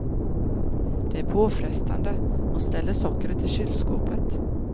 Det är påfrestande, hon ställer sockret i kylskåpet.